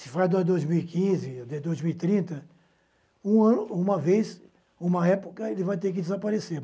Se faz dois mil e quinze, dois mil e trinta, uma vez, uma época, ele vai ter que desaparecer.